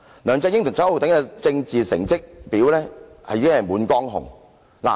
梁振英和周浩鼎議員的政治成績表已經滿江紅。